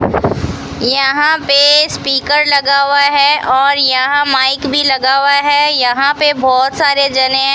यहां पे स्पीकर लगा हुआ है और यहां माइक भी लगा हुआ है यहां पे बहुत सारे जने है।